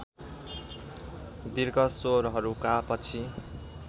दीर्घ स्वरहरूका पछि